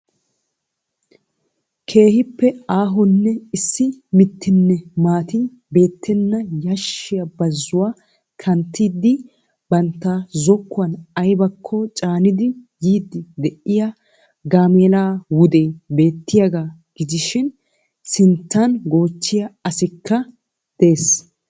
Keehiipe aahoonne issi mittinne maati beettenna yashshiya bazzuwaa kanttidi bantta zokkuwaan aybakko caanidi yiidi de'iyaa gaameela wudee beettiyaagaa gidishin sinttaan gochchiya asikka dees.